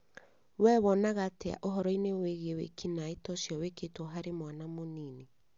Wee wonaga atĩa ũhoro-inĩ wĩgiĩ wĩkinaĩ ta ũcio wĩkĩtwo harĩ mwana mũnini?